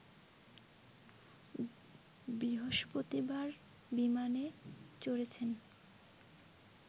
বৃহস্পতিবার বিমানে চড়েছেন